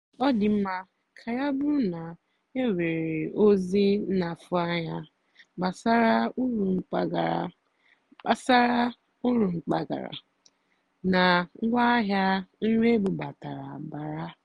ọ́ nà-àjụ́ mà ị́kwụ́ ụ́gwọ́ mgbàkwúnyéré màkà nrì ébúbátàrá nà-àbàrà ndí ọ́rụ́ ùgbó nọ́ nà mbà ndí ọ́zọ́ ùrù n'ụ́zọ̀ zìrí ézí.